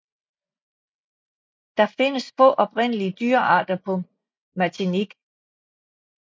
Der findes få oprindelige dyrearter på Martinique